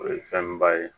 O ye fɛn ba ye